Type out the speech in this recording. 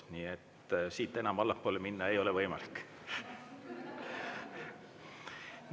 Nii et siit enam allapoole minna ei ole võimalik.